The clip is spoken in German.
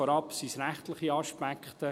vorab sind es rechtliche Aspekte.